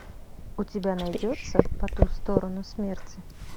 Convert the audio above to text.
у тебя найдется по ту сторону смерти